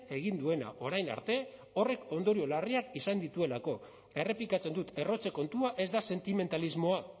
egin duena orain arte horrek ondorio larriak izan dituelako errepikatzen dut errotze kontua ez da sentimentalismoa